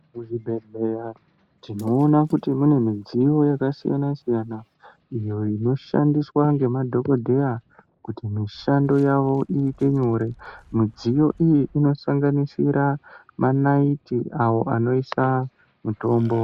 Muzvibhehlera tinoona mune dziyo yakasiyana siyana inoshandiswa nemadhogodheya kuti basa ravo rireruke tinoona munoiswa manaiti ayo anoiswa mitombo